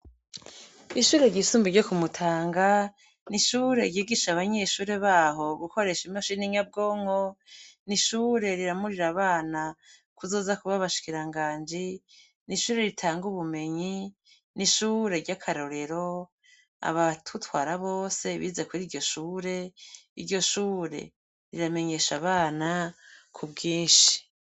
Ishure ryisumbuye ryoku mutanga nishure ryigisha abanyeshure baho gukoresha imashini nyabwonko nishure riramurira abana kuzoza kuba abashikiranganji nishure ritanga ubumenyi nishure ryakarorero abadutwara bose bize kwiryoshure iryoshure riramenyesha abana kubwinshi